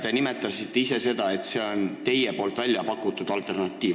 Te nimetasite ise, et see on teie väljapakutud alternatiiv.